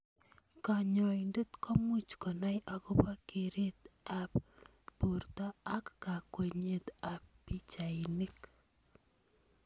Kanyoindet komuch konai akobo keret ab borto ak kakwenyet ab pichainik.